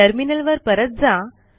टर्मिनलवर परत जा